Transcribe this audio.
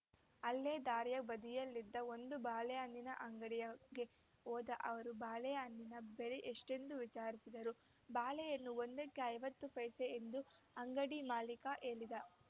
ಅಲ್ಲೇ ದಾರಿಯ ಬದಿಯಲ್ಲಿದ್ದ ಒಂದು ಬಾಳೆಹಣ್ಣಿನ ಅಂಗಡಿಯಗೆ ಹೋದ ಅವರು ಬಾಳೆಹಣ್ಣಿನ ಬೆಲೆ ಎಷ್ಟೆಂದು ವಿಚಾರಿಸಿದರು ಬಾಳೆಹಣ್ಣು ಒಂದಕ್ಕೆ ಐವತ್ತು ಪೈಸೆ ಎಂದು ಅಂಗಡಿ ಮಾಲೀಕ ಹೇಳಿದ